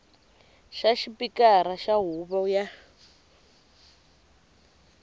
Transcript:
xa xipikara xa huvo ya